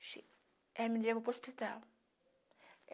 Ela me levou para o hospital.